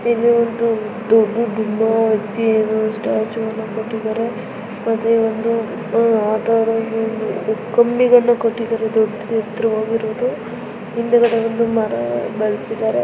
ಇದೊಂದು ದೊಡ್ಡ ಡುಮ್ಮ ವ್ಯಕ್ತಿಯ ಸ್ಟ್ಯಾಚುವನ್ನು ಕಟ್ಟಿದ್ದಾರೆ ಮತ್ತೆ ಒಂದು ಆಟ ಆಡಲು ಒಂದು ದೊಡ್ಡದು ಎತ್ರವಾಗಿರೋದು ಹಿಂದ್ಗಡೆ ಒಂದ್ ಮರ ಬೆಳ್ಸಿದ್ದಾರೆ.